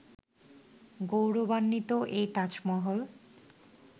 গৌরবান্বিত এই তাজমহল